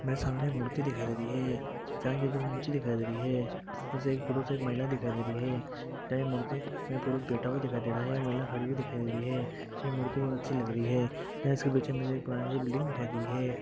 मेरे सामने एक मूर्ति दिखाई दे रही है जहां यह दो मूर्ति दिखाई दे रही है इसमे से एक पुरुष और एक महिला दिखाई दे रही है इस मूर्ति मे पुरुष बैठ हुआ दिखाई दे रहा है महिला खड़ी हुई दिखाई दे रही है यह मूर्ति बहुत अच्छी लग रही है यहाँ इसके पीछे एक पुरानी सी बिल्डिंग दिखाई दे रही है।